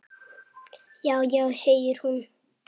Já, já segir hún.